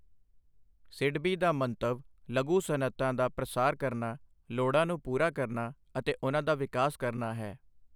ਸਿਡਬੀ ਦਾ ਮੰਤਵ ਲਘੂ ਸਨਅਤਾਂ ਦਾ ਪ੍ਰਸਾਰ ਕਰਨਾ ਲੋੜਾਂ ਨੂੰ ਪੂਰਾ ਕਰਨਾ ਅਤੇ ਉਨ੍ਹਾਂ ਦਾ ਵਿਕਾਸ ਕਰਨਾ ਹੈ।